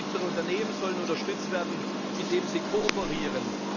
Kleine und mittlere Unternehmen sollen unterstützt werden, indem sie kooperieren.